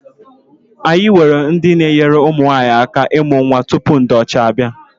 Anyị nwere ndị na-enyere ụmụ nwaanyi aka imụ nnwa tupu ndị ọcha abịa.